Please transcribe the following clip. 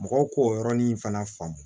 Mɔgɔw k'o yɔrɔnin fana faamu